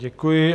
Děkuji.